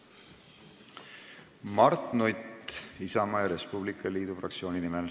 Mart Nutt Isamaa ja Res Publica Liidu fraktsiooni nimel.